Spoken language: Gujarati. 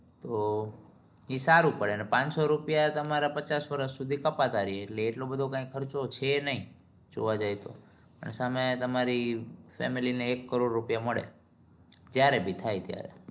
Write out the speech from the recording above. તો ઇ સારું પડે અને પાનસો રૂપિયા તમારા પચાસ વર્ષ સુધી કપતા રે એટલું બધું કઈ ખર્ચો છે નહિ જોવા જાય તો સામે તમારી family ને એક કરોડ રૂપિયા મળે જયારે બી થાય ત્યારે